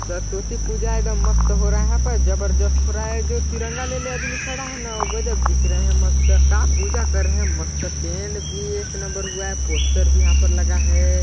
सरस्वती पूजा एकदम मस्त हो रहा है पर जबरदस्त हो रहा है जो तिरंगा ले ले आदमी खड़ा है न वो गजब दिख रहे है मस्त का पूजा कर रहे है मस्त टेंट भी एक नंबर हुआ है पोस्टर भी यहाँ पर लगा है।